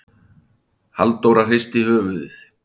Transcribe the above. Halldóra hristi höfuðið.